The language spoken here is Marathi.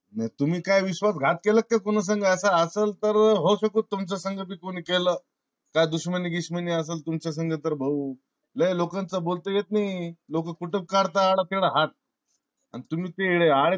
तुम्ही काय विश्वास घात केला का काय कुणा संग? अस असेल तर होऊ शकता तुमच्या सांगा पण कुणी केल. काय दुष्मनी गिश्मनी असाल तुमच्या संग तर भाऊ लय लोकांचा बोलता येत नि. लोक कुठ पण कडता आडा तिडा हात. आन तुम्ही आडे